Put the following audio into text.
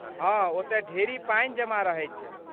हाँ, ओतय ढेरी पाइन जमा रहैत छै।